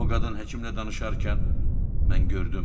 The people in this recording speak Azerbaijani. O qadın həkimlə danışarkən mən gördüm.